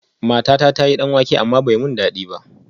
Matata ta yi danwake amma ban ji dadi ba